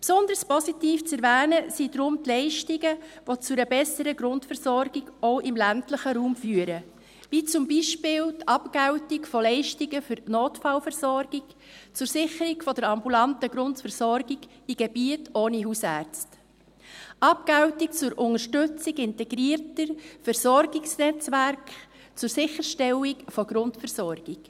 Besonders positiv zu erwähnen sind deswegen die Leistungen, welche zu einer besseren Grundversorgung, auch im ländlichen Raum führen, wie zum Beispiel die Abgeltung von Leistungen für die Notfallversorgung zur Sicherung der ambulanten Grundversorgung in Gebieten ohne Hausärzte, die Abgeltung zur Unterstützung integrierter Versorgungsnetzwerke zur Sicherstellung der Grundversorgung.